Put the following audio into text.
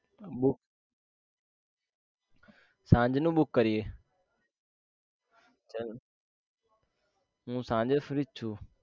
Book સાંજનું book કરીએ હું સાંજે free જ છું